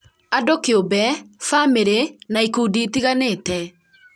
andũ kĩũmbe, bamĩrĩ, na ikundi itiganĩte